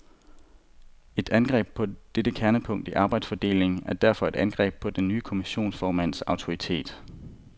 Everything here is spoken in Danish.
Et angreb på dette kernepunkt i arbejdsfordelingen er derfor et angreb på den nye kommissionsformands autoritet.